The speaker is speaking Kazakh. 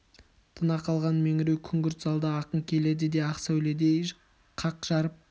тына қалған меңіреу күңгірт залда ақын келеді ақ сәуледей қақ жарып